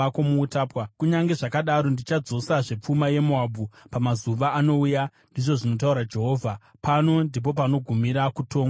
“Kunyange zvakadaro ndichadzosazve pfuma yeMoabhu pamazuva anouya,” ndizvo zvinotaura Jehovha. Pano ndipo panogumira kutongwa kweMoabhu.